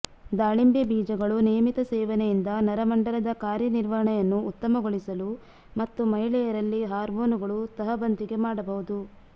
ದಾಳಿಂಬೆ ಬೀಜಗಳು ನಿಯಮಿತ ಸೇವನೆಯಿಂದ ನರಮಂಡಲದ ಕಾರ್ಯನಿರ್ವಹಣೆಯನ್ನು ಉತ್ತಮಗೊಳಿಸಲು ಮತ್ತು ಮಹಿಳೆಯರಲ್ಲಿ ಹಾರ್ಮೋನುಗಳು ತಹಬಂದಿಗೆ ಮಾಡಬಹುದು